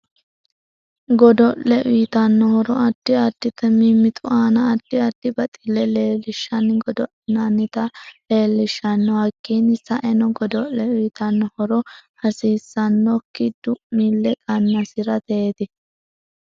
Godo'le uyiitano horo addi additi mimitu aana addi addi baxille leelishanni godo'linanita leelishanno hakiini sa'enno godole uyiitanno horo hasiisanoki du'mille qanasirateeti